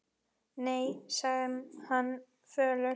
Nei, sagði hann fölur.